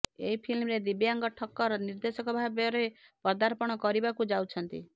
ଏହି ଫିଲ୍ମରେ ଦିବ୍ୟାଙ୍ଗ ଠକ୍କର ନିର୍ଦ୍ଦେଶକ ଭାବରେ ପଦାର୍ପଣ କରିବାକୁ ଯାଉଛନ୍ତି